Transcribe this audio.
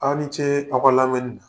Aw ni ce aw ka lamɛnni na.